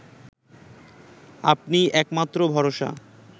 আপনিই একমাত্র ভরসা